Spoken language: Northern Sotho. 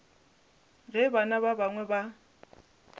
ge bana ba bangwe ba